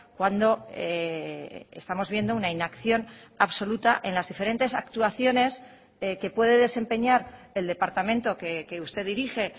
cuando estamos viendo una inacción absoluta en las diferentes actuaciones que puede desempeñar el departamento que usted dirige